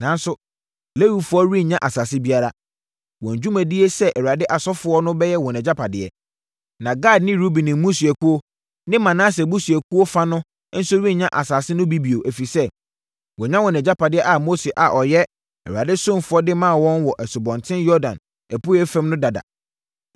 Nanso, Lewifoɔ no rennya asase biara. Wɔn dwumadie sɛ Awurade asɔfoɔ no bɛyɛ wɔn agyapadeɛ. Na Gad ne Ruben mmusuakuo ne Manase abusuakuo fa no nso renya asase no bi bio, ɛfiri sɛ, wɔanya wɔn agyapadeɛ a Mose a ɔyɛ Awurade ɔsomfoɔ de maa wɔn wɔ Asubɔnten Yordan apueeɛ fam no dada.”